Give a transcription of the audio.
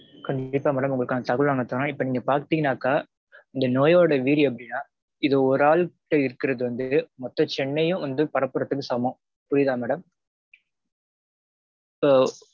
கண்டிப்பா madam. உங்களுக்கான தகவல் நாங்க தறோம். இப்போ நீங்க பாத்தீங்கனாக்க நோயோட வீரியம் வந்து ஒரு ஆள் கிட்ட இருக்கறது வந்து மொத்த சென்னையும் வந்து பரப்பறதுக்கு சமம். புரியுதா madam? so